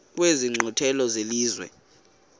kwezi nkqwithela zelizwe